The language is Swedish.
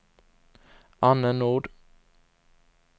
Anne Nord